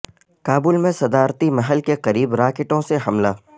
کابل میں صدارتی محل کے قریب راکٹوں سے حملہ